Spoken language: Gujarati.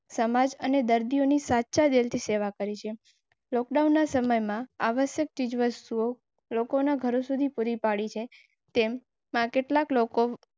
સમાજ અને દર્દીઓને સાચા રીતે સેવા કરેં. આવશ્યક ચીજવસ્તુઓ લોકોના ઘરો સુધી પુરી પાડી માર કેટલાક લોકો સમાજ.